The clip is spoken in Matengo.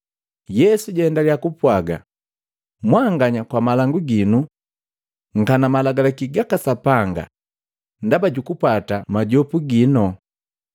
Yesu jaendalya kupwaga, “Mwanganya kwa malangu ginu nkana malagalaki gaka Sapanga ndaba jukupwata majopu gino!